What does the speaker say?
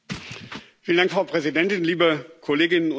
Frau Präsidentin, liebe Kolleginnen und Kollegen!